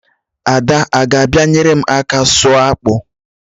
Ada a ga-abịa nyere m aka sụọ akpụ?